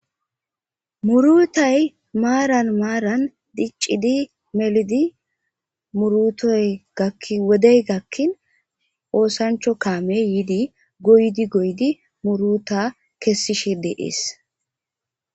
Murutay maaran maaran diccidi melidi murutoygawodey gakkin oosancho kaame yiidi goydi goydi muruta kessishi deees